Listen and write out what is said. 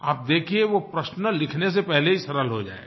आप देखिये वो प्रश्न लिखने से पहले ही सरल हो जाएगा